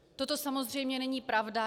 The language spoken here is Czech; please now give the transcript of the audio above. Toto samozřejmě není pravda.